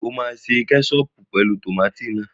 Ṣé o máa ṣe kẹ́ṣọọ̀pù pẹ̀lú tòmátì náà?